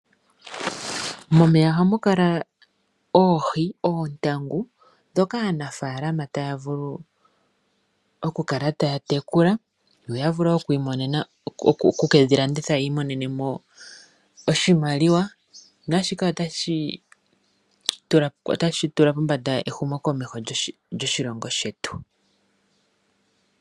Momeya ohamu vulu oku kala oohi, oontangu dhoka aanafalama taya vulu oku kala taya tekula, yo ya vule oku kedhi landitha yiimonene oshimaliwa, na shika otashi tula pombanda ehumo komeho lyoshilongo shetu.